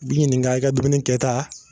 Bi ɲininka i ka dumuni kɛta.